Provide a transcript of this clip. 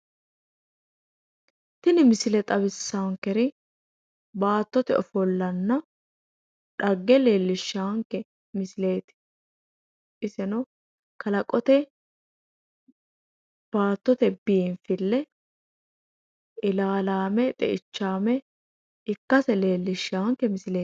tini misile xawissankeri baattote ofollanna xagge leellishshaanke misileeti iseno kalaqote baattote biinfille ilaalame xeichaame ikkase lellishshaanke misileeti.